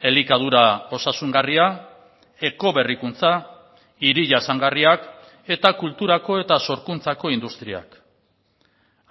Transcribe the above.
elikadura osasungarria ekoberrikuntza hiri jasangarriak eta kulturako eta sorkuntzako industriak